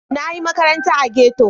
Na yi makaranta a ghetto.